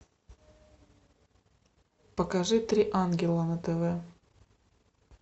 покажи три ангела на тв